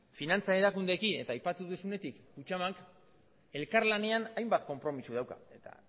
finantza erakundeekin eta aipatu duzunetik kutxabank elkarlanean hainbat konpromiso dauka eta